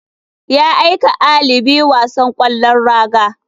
Ya aika ali biyu wasan kwallon raga.